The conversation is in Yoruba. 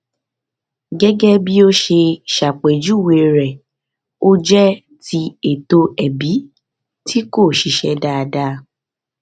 gẹgẹ bí o ṣe ṣàpèjúwe rẹ o jẹ ti ètò ẹbí tí kò ṣiṣẹ dáadáa